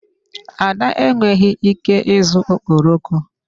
Ada enweghị ike ịzụ okporoko.